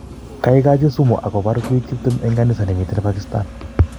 kaigachi sumuakopar piik tiptem en kanisa nemiten Pakstan